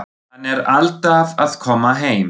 Hann er alltaf að koma heim.